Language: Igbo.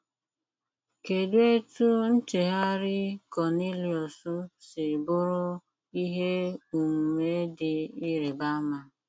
Kedụ etú ncheghari Kọniliọs si bụrụ ihe omume dị ịrịba ama?